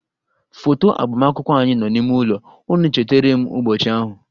Foto agbamakwụkwọ anyị nọ n'ime ụlọ, ọ na-echeterem ụbọchị ahụ